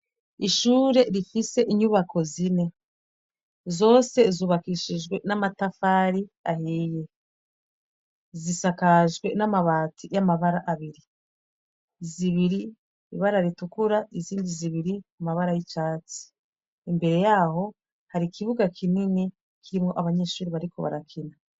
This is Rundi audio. Ishure rifise inyubako zine. Zose zubakishijwe n'amatafari ahiye. Zisakajwe n'amabati y'amabara abiri : zibiri ibara ritukura izindi zibiri amabara y'icatsi. Imbere yaho hari ikibuga kinini kirimwo abanyeshure bariko barakina.